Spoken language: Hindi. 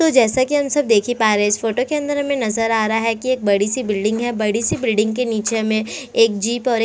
तो जैसा कि हम सब देख ही पा रहे है इस फोटो के अंदर हमें नज़र आ रहा है कि एक बड़ी सी बिल्डिंग है बड़ी सी बिल्डिंग के नीचे हमें एक जीप और एक--